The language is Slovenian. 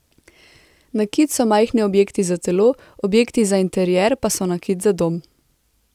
Nakit so majhni objekti za telo, objekti za interjer pa so nakit za dom.